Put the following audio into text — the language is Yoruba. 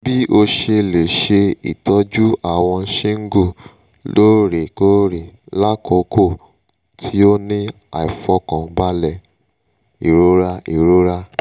bii o se le se itoju awon shingle loorekoore lakoko ti o ni aifokanbale irora irora